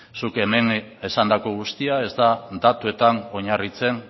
zuk hemen esandako guztia ez da datuetan oinarritzen